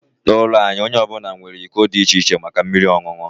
N'ụlọ anyị, onye ọ bụla nwere iko dị iche iche maka mmiri ọṅụṅụ